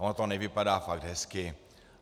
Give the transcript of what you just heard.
Ono to nevypadá fakt hezky.